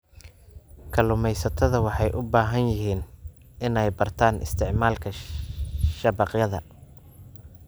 Kalluumeysatada waxay u baahan yihiin inay bartaan isticmaalka shabaqyada.